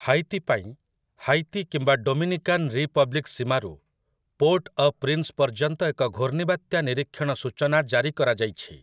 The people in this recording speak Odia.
ହାଇତି ପାଇଁ ହାଇତି କିମ୍ବା ଡୋମିନିକାନ୍ ରିପବ୍ଲିକ୍ ସୀମାରୁ ପୋର୍ଟ ଅ ପ୍ରିନ୍ସ୍ ପର୍ଯ୍ୟନ୍ତ ଏକ ଘୂର୍ଣ୍ଣିବାତ୍ୟା ନିରୀକ୍ଷଣ ସୂଚନା ଜାରି କରାଯାଇଛି ।